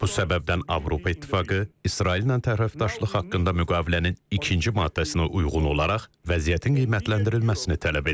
Bu səbəbdən Avropa İttifaqı İsraillə tərəfdaşlıq haqqında müqavilənin ikinci maddəsinə uyğun olaraq vəziyyətin qiymətləndirilməsini tələb edib.